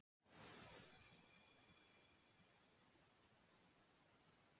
Það hýrnaði yfir Kolbrúnu eitt örstutt augnablik þegar hún opnaði dyrnar og sá hann.